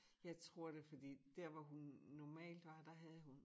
Jeg tror det fordi dér hvor hun normalt var der havde hun